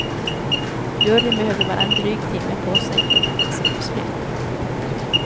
Juryn behövde bara en dryg timme på sig för att fatta sitt beslut. punkt